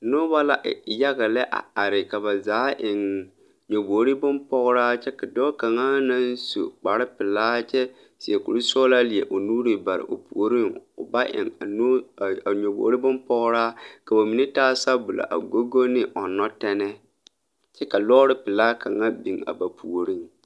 Nobɔ la e yaga lɛ a ka ba zaa eŋ nyobogre bonpɔgraa kyɛ ka dɔɔ kaŋa naŋ su kparepelaa kyɛ seɛ kurisɔglaa leɛ o nuure bare o puoriŋ ba eŋ a noo ai a nyobogre bonpɔgraa ka ba mine taa sabulɔ a go go ne ɔŋnɔ tɛnɛɛ kyɛ ka lɔɔre pelaa kaŋa biŋ a ba puoriŋ.